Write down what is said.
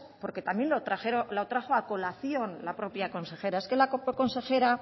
porque también lo trajo a colación la propia consejera es que la propia consejera